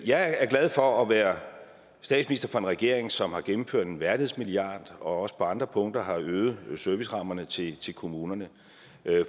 jeg er glad for at være statsminister for en regering som har gennemført en værdighedsmilliard og som også på andre punkter har øget servicerammerne til til kommunerne